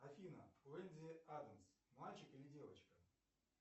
афина уэнди адамс мальчик или девочка